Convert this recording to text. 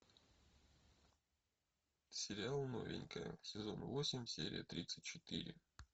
сериал новенькая сезон восемь серия тридцать четыре